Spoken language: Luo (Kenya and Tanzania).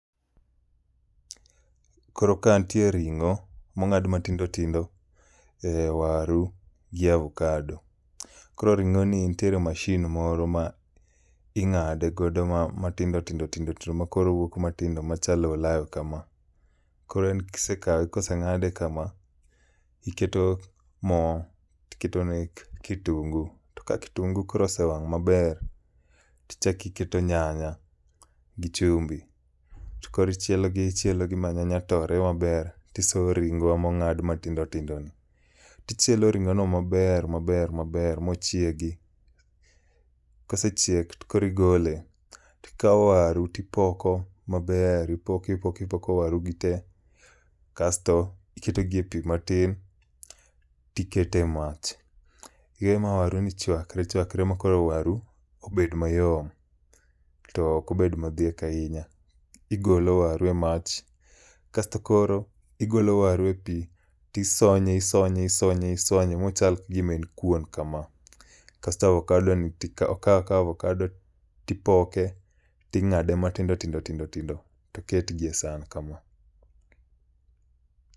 Koro ka nitie ring'o mong'ad matindo tindo e waru gi avocado. Koro ring'o ni nitiere masin moro ma ing'ade go matindo tindo tindo makoro owuok matindo makoro ochalo olayo kama. Kor en kise kawe koseng'ade kama iketo mo tiketo ne kitungu. To ka kitungu koro osewang' maber tichakiketo nyanya gi chumbi. Tokoro ichielo gi ichielogi ma nyanya tore maber ti so ring'o mongadi matindo tindo ni. Tichielo ring'o no maber maber maber mochiegi. Kosechiek to koro igole. Tikaw waru tipoko maber ipoko ipoko ipoko waru gi tek kasto iketo gi e pi matin tikete mach. Iwe ma waru ni chwakre chwakre makoro waru ni bed mayom. Ok obed modhiek ahinya. Igo waru e mach kasto koro igolo waru e pi tisonye isonye isonye isonye mochal gima en kuon kama. Kasto avocado ni okaw akaw avocado ni tipoke ting'ade matindo tindo tindo tindo toket gi e san kama.